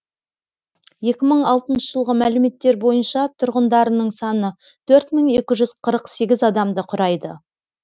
екі мың алтыншы жылғы мәліметтер бойынша тұрғындарының саны төрт мың екі жүз қырық сегіз адамды құрайды